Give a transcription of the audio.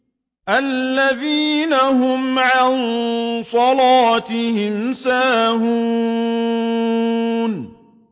الَّذِينَ هُمْ عَن صَلَاتِهِمْ سَاهُونَ